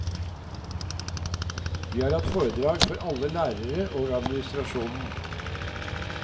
Vi har hatt foredrag for alle lærere og administrasjonen.